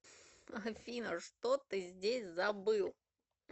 афина что ты здесь забыл